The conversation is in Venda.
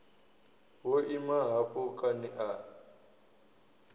wo ima hafho kani a